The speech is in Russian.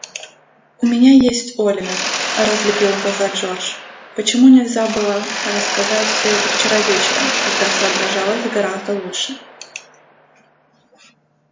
у меня есть оливер разлепил глаза джордж почему нельзя было рассказать всё это вчера вечером когда соображалось гораздо лучше